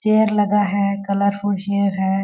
Chair लगा है colourful chair है।